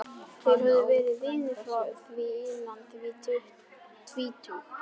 Þeir höfðu verið vinir frá því innan við tvítugt.